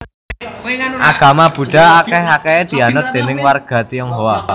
Agama Buddha akèh akèhé dianut déning warga Tionghoa